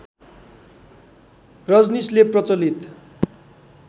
रजनीशले प्रचलित